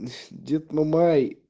дед мамай